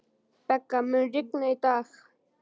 Begga, mun rigna í dag?